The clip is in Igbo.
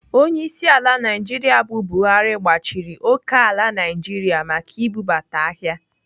Onyeisiala Naijiria bụ Buhari gbachiri okeala Naijiria maka ibubata ahịa.